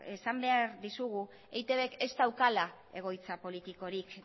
esan behar dizugu eitbk ez daukala egoitza politikorik